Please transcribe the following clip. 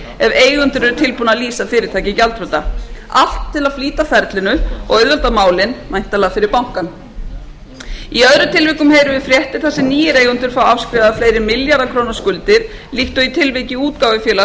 eigandinn er tilbúinn að lýsa fyrirtækið gjaldþrota allt til að flýta ferlinu og auðvelda málin væntanlega fyrir bankann í öðrum tilvikum heyrum við fréttir þar sem nýir eigendur fá afskrifaða fleiri milljarða króna skuldir líkt og í tilviki útgáfufélags